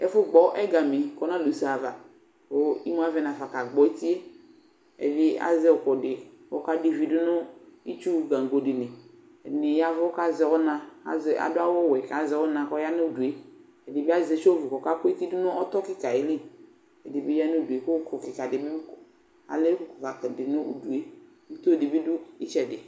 Ɛfu gbɔ ɛgami kɔ na du usé ava ku imu aʋɛ nafa ka gbo étié, ɛvi azɛ ukudi kɔ ɔka divi dunu itchu gbăgbo dili Ɛdiyaʋu kazɛ ɔna, adu awu wʊɛ azɛ ɔna kɔyanu udué Ɛdibi zɛ iséhu kɔ ɔka ku éti dunu ɔtɔ kika ayili, ɛdibi yanu udué ku uku kika alɛwap dinu udué, ito dibi du itchɛdi